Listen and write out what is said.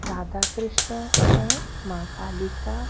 राधा कृष्ण है माँ कालिका--